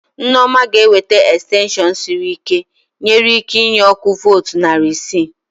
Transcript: Nneoma ga ewete extension sịrị ike, nwere ike inye ọkụ voltu narị isi